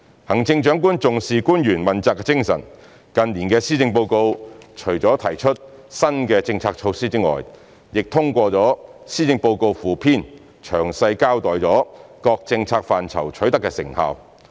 行政長官重視官員問責精神，近年的施政報告除了提出新的政策措施外，亦通過施政報告附篇詳細交代各政策範疇取得的成效。